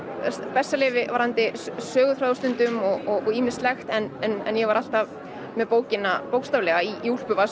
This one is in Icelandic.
bessaleyfi varðandi söguþráð stundum og ýmislegt en ég var alltaf með bókina bókstaflega í